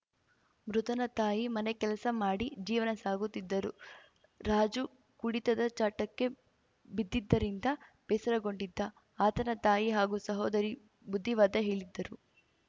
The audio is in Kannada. ಮೃತನ ತಾಯಿ ಮನೆ ಕೆಲಸ ಮಾಡಿ ಜೀವನ ಸಾಗುತ್ತಿದ್ದರು ರಾಜು ಕುಡಿತದ ಚಟಕ್ಕೆ ಬಿದ್ದಿದ್ದರಿಂದ ಬೇಸರಗೊಂಡಿದ್ದ ಆತನ ತಾಯಿ ಹಾಗೂ ಸಹೋದರಿ ಬುದ್ಧಿವಾದ ಹೇಳಿದ್ದರು